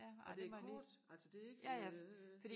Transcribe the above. Men det kort altså det ikke øh